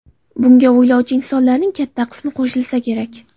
Bunga o‘ylovchi insonlarning katta qismi qo‘shilsa kerak.